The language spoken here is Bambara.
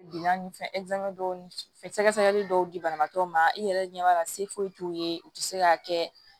dɔw sɛgɛ sɛgɛli dɔw di banabaatɔ ma i yɛrɛ ɲɛ b'a la se foyi t'u ye u ti se k'a kɛ